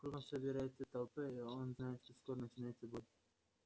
кругом собирается толпа и он знает что скоро начнётся бой